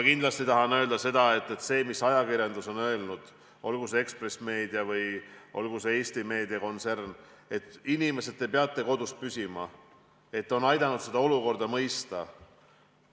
Kindlasti tahan ma öelda seda, et see, mida ajakirjandus – olgu see Ekspress Meedia või Eesti Meedia – on öelnud selle kohta, et inimesed peavad kodus püsima, on aidanud inimestel olukorda mõista.